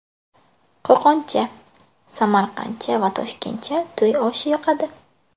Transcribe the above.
Qo‘qoncha, samarqandcha va toshkentcha to‘y oshi yoqadi.